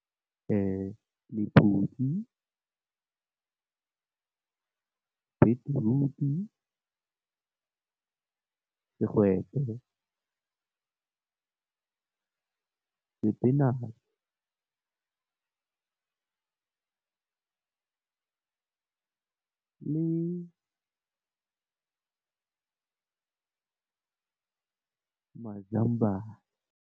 Lephutshi , beetroot , segwete, sepinatšhe le mazambane.